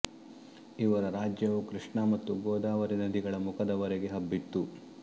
ಇವರ ರಾಜ್ಯವು ಕೃಷ್ಣಾ ಮತ್ತು ಗೋವಾವರೀ ನದಿಗಳ ಮುಖದವರೆಗೆ ಹಬ್ಬಿತ್ತು